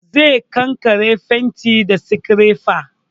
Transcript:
Zai kankare fentin da sikirefa